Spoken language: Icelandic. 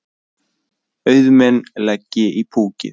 Auðmenn leggi í púkkið